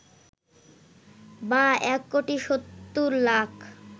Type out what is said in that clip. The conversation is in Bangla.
বা ১ কোটি ৭০ লাখ